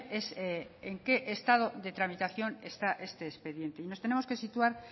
es en qué estado de tramitación está este expediente y nos tenemos que situar